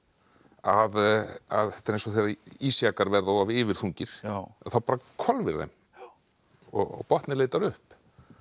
að að þetta er eins og þegar ísjakar verða yfirþungir þá bara hvolfir þeim og botninn leitar upp